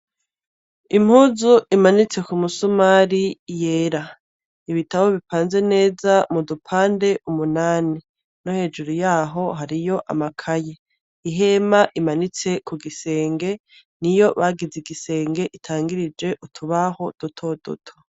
Impuzu imanitse kumusumari yera , ibitabo bipanze neza mudupande umunani, no hejuru yaho hariyo amakaye, ihema imanitse kugisenge niyo bagize igisenge itangirije utubaho dutoduto.